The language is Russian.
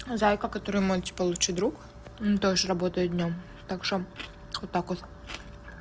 зайка который мой типа лучший друг тоже работает днём так что вот так вот